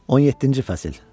17-ci fəsil.